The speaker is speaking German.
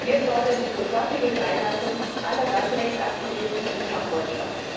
Wir fordern die sofortige Freilassung aller Landrechtsaktivisten in Kambodscha!